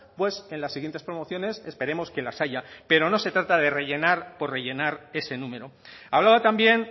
pues en las siguientes promociones esperemos que las haya pero no se trata de rellenar por rellenar ese número hablaba también